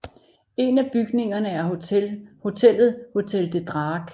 En af bygningerne er hotellet Hotel De Draak